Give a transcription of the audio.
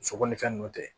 Muso ko ni fɛn ninnu tɛ